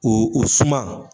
Oo o suman